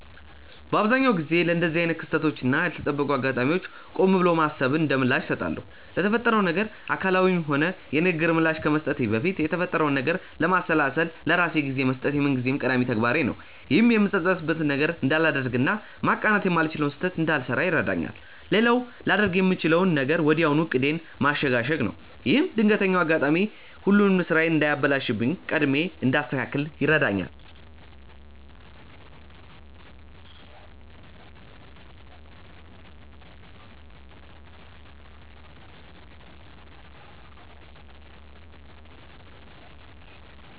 በአብዛኛው ጊዜ ለእንደዚህ አይነት ክስተቶች እና ያልተጠበቁ አጋጣሚዎች ቆም ብሎ ማሰብን እንደምላሽ እሰጣለሁ። ለተፈጠረው ነገር አካላዊም ሆነ የንግግር ምላሽ ከመስጠቴ በፊት የተፈጠረውን ነገር ለማሰላሰል ለራሴ ጊዜ መስጠት የምንጊዜም ቀዳሚ ተግባሬ ነው። ይህም የምጸጸትበትን ነገር እንዳላደርግ እና ማቃናት የማልችለውን ስህተት እንዳልሰራ ይረዳኛል። ሌላው ላደርግ የምችለው ነገር ወዲያው ዕቅዴን ማሸጋሸግ ነው። ይህም ድንገተኛው አጋጣሚ ሁሉንም ስራዬን እንዳያበላሽብኝ ቀድሜ እንዳስተካክል ይረዳኛል።